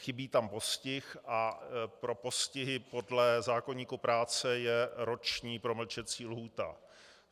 Chybí tam postih a pro postihy podle zákoníku práce je roční promlčecí lhůta.